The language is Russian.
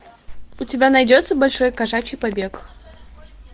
у тебя найдется большой кошачий побег